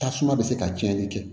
Tasuma bɛ se ka cɛnli kɛ